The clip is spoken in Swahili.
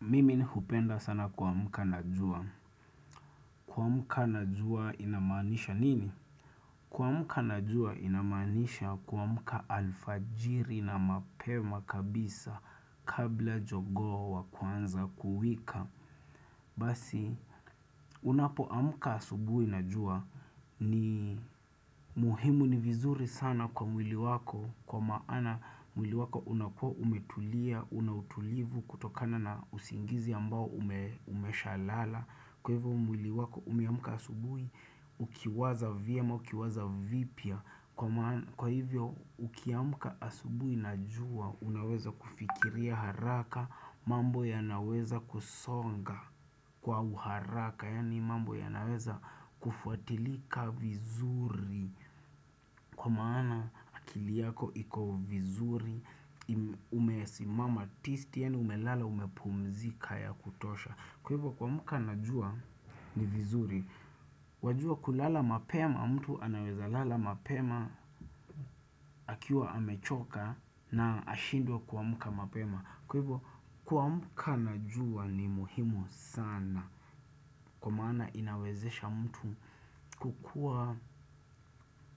Mimin hupenda sana kamka najua. Kamuka najua inamanisha nini? Kwamka najua inamanisha kwamka alfajiri na mapema kabisa kabla jogowa kwanza kuwika. Basi, unapo amka subuhi najua ni muhimu ni vizuri sana kwa mwili wako. Kwa maana mwili wako unakua umetulia, unautulivu kutokana na usingizi ambao umeshalala. Kwa hivyo mwili wako umeamuka asubui ukiwaza vyema ukiwaza vipya Kwa hivyo ukiamuka asubui najua unaweza kufikiria haraka mambo ya naweza kusonga kwa uharaka Yani mambo ya naweza kufuatilika vizuri Kwa maana akiliyako iko vizuri umesimama tisti Yani umelala umepumzika ya kutosha kuamka anajua ni vizuri, wajua kulala mapema mtu anaweza lala mapema akiwa amechoka na ashindwe kuamka mapema Kwa ivo kuamka na jua ni muhimu sana kwa mana inawezesha mtu kukua